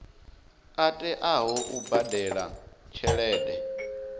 a teaho u badela tshelede